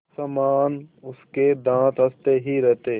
समान उसके दाँत हँसते ही रहते